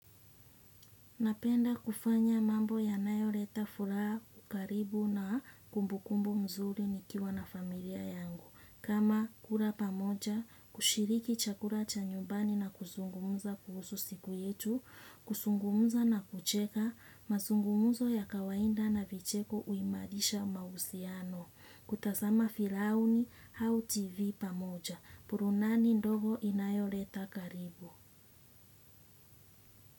Napenda kufanya mambo yanayo leta fura karibu na kumbu kumbu mzuri nikiwa na familia yangu. Kama kula pamoja, kushiriki chakula cha nyumbani na kuzungumuza kuhusu siku yetu, kuzungumuza na kucheka, mazungumzo ya kawaida na vicheko huimarisha mahusiano. Kutazama filamu au tv pamoja. Burudani ndogo inayoleta karibu.